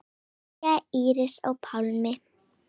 Kveðja, Íris og Pálmi.